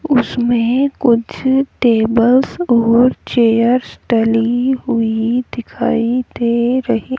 उसमें कुछ टेबल्स और चेयर्स डली हुई दिखाई दे रही--